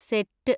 Set!